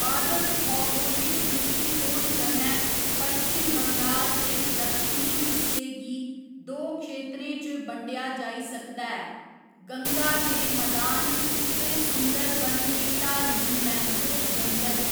पादपभौगोलिक द्रिश्टीकोण कन्नै, पश्चिम बंगाल दे दक्षिणी हिस्से गी दो क्षेत्रें च बंडेआ जाई सकदा हैः गंगा दे मदान ते सुंदरबन दे ढालमीं मैंग्रोव जंगल।